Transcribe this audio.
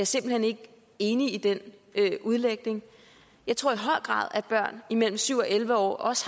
simpelt hen ikke enig i den udlægning jeg tror i høj grad at børn imellem syv og elleve år også